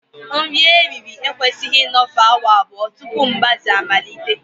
Nri eriri eri ekwesịghị ịnọfe awa abụọ tupu mgbaze amalite